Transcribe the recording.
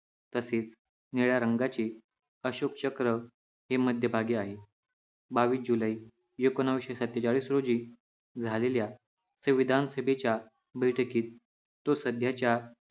तसेच निळ्या रंगाची अशोक चक्र हे मध्यभागी आहे बावीस जुलै एकोणीशे सतेंचाळीस रोजी झालेल्या संविधानसभेच्या बैठकीत तो सध्यांच्या